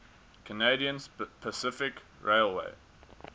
canadian pacific railway